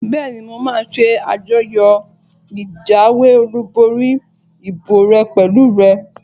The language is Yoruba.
Bẹ́ẹ̀ni, mo máa ṣe àjọyọ̀ ìjáwé olùborí ìbò rẹ pẹ̀lú rẹ